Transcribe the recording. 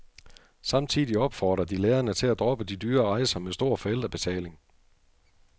Samtidig opfordrer de lærerne til at droppe dyre rejser med stor forældrebetaling.